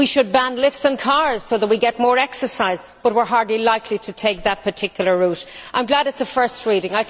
We should ban lifts and cars so that we get more exercise, but we are hardly likely to take that particular route. I am glad this is a first reading.